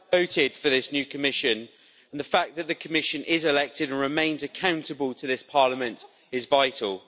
...voted for this new Commission, and the fact that the Commission is elected and remains accountable to this Parliament, is vital.